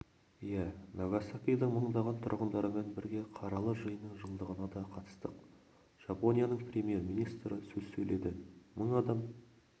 иә нагасакидің мыңдаған тұрғындарымен бірге қаралы жиынның жылдығына да қатыстық жапонияның премьер-министрі сөз сөйледі мың адам